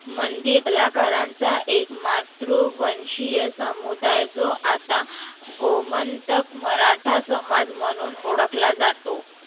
मंदिर कलाकारांचा एक मातृवंशीय सामुदाय जो आता गोमंतक मराठा समाज म्हणुन ओळखला जातो.